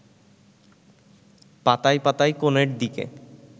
পাতায় পাতায় কোণের দিকে